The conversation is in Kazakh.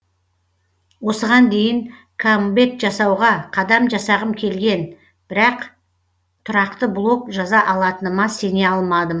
осыған дейін камбэк жасауға қадам жасағым келген бірақ тұрақты блог жаза алатыныма сене алмадым